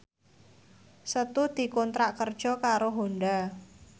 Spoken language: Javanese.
Setu dikontrak kerja karo Honda